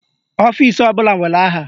Ọfisi ọbụla nwere aha.